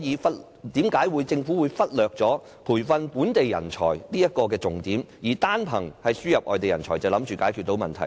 為何政府會忽略培訓本地人才的重點，以為單憑輸入人才便可解決問題？